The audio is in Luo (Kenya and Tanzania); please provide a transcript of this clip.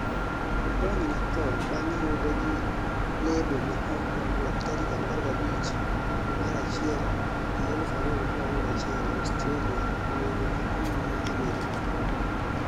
otony ne tho bang' yude gi lebo ma ok opwodh tarik 15 januari 2021 Australia onego akuru ma Amerika